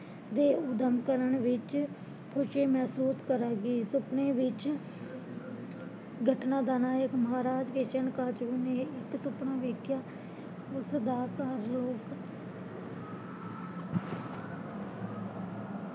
ਦੇ ਉਦਮ ਕਰਨ ਵਿੱਚ ਖੁਸ਼ੀ ਮਹਿਸੂਸ ਕਰਾਂਗੀ, ਸੁਪਨੇ ਵਿੱਚ ਗਠਨਾਂ ਦਾ ਨਾਇਕ ਮਹਾਰਾਜ ਕਿਸ਼ਨ ਕਾਸ਼ਰੂ ਨੇ ਇੱਕ ਸੁਪਨਾ ਵੇਖਿਆ ਉਸ ਦਾ ਸਾਰਲੋਕ